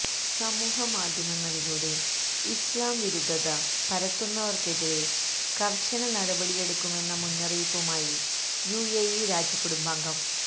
സാമൂഹ മാധ്യമങ്ങളിലൂടെ ഇസ്ലാം വിരുദ്ധത പരത്തുന്നവർക്കെതിരെ കർശന നടപടിയെടുക്കുമെന്ന മുന്നറിയിപ്പുമായി യുഎഇ രാജകുടുംബാംഗം